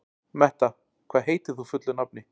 Metta, hvað heitir þú fullu nafni?